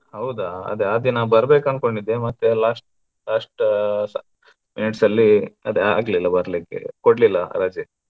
ಹೌದಾ ಅದೇ ಆ ದಿನ ಬರ್ಬೇಕು ಅನ್ಕೊಂಡಿದ್ದೆ ಮತ್ತೆ last last ಆ minutes ಅಲ್ಲಿ ಅದು ಆಗ್ಲಿಲ್ಲ ಬರ್ಲಿಕ್ಕೆ ಕೊಡ್ಲಿಲ್ಲ ರಜೆ.